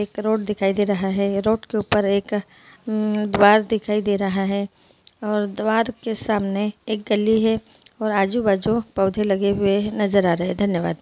एक रोड दिखाई दे रहा है रोड के ऊपर एक दीवार दिखाई दे रहा है और दीवार के सामने एक गल्ली है और आजु बाजू पौधे लगे हुए नज़र आ रहे हैं धन्यवाद।